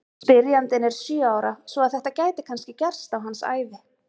Spyrjandinn er sjö ára svo að þetta gæti kannski gerst á hans ævi!